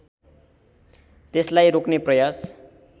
त्यसलाई रोक्ने प्रयास